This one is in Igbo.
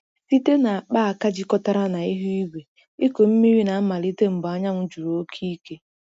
Site na akpaaka jikọtara na ihu igwe, ịkụ mmiri na-amalite mgbe anyanwụ juru oke ike.